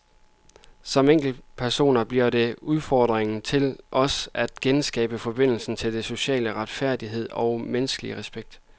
Som enkeltpersoner bliver det udfordringen til os at genskabe forbindelsen til social retfærdighed og menneskelig respekt.